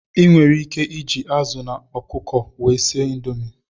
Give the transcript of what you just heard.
Ị nwere ike iji azụ na ọkụkọ wee sie indomi.